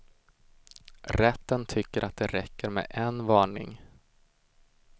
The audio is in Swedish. Rätten tycker att det räcker med en varning.